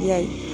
I ya ye